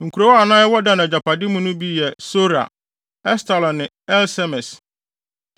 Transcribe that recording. Nkurow a na ɛwɔ Dan agyapade mu no bi yɛ Sora, Estaol ne Ir-Semes,